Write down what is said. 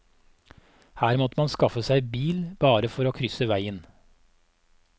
Her måtte man skaffe seg bil bare for å krysse veien.